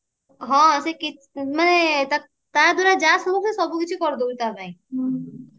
ହଁ ସେ କିଛି ମାନେ ତା ଦ୍ଵାରା ଯାହା ସମ୍ଭବ ହଉଛି ସେ ସବୁ କିଛି କରି ଦଉଛି ତା ପାଇଁ